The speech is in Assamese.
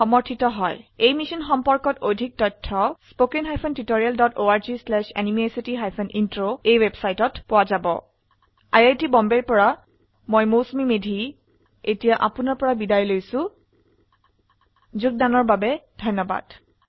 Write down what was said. এই বিষয়ে বিস্তাৰিত তথ্য এই লিঙ্কে প্ৰাপ্তিসাধ্য spoken hyphen tutorial dot org slash এনএমইআইচিত হাইফেন ইন্ট্ৰ এই টিউটৰিয়েল অৰুন পাথকৰ দ্ৱাৰা যোগদান কৰা হৈছে আই আই টী বম্বে ৰ পৰা মই মৌচুমী মেধী এতিয়া আপুনাৰ পৰা বিদায় লৈছো যোগদানৰ বাবে ধন্যবাদ